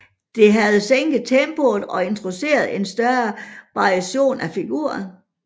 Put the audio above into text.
Det havde sænket tempoet og introduceret en større variation af figurer